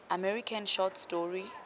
american short story